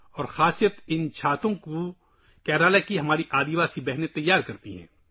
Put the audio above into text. اور خاص بات یہ ہے کہ یہ چھتریاں ہماری کیرالہ کی قبائلی بہنوں نے تیار کی ہیں